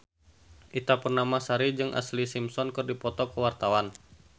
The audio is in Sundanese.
Ita Purnamasari jeung Ashlee Simpson keur dipoto ku wartawan